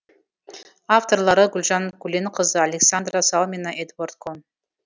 авторлары гүлжан көленқызы александра салмина эдуард кон